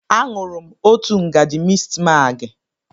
Aṅụrụ m òtù ngaji mistmaagị.